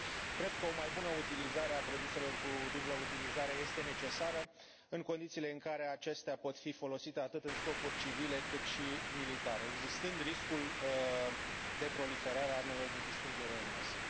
Cred că o mai bună utilizare a produselor cu dublă utilizare este necesară, în condițiile în care acestea pot fi folosite atât în scopuri civile, cât și militare, existând riscul de proliferare a armelor de distrugere în masă.